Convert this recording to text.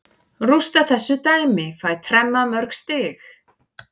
Rústa þessu dæmi, fæ tremma mörg stig.